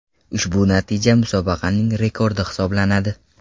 Ushbu natija musobaqaning rekordi hisoblanadi.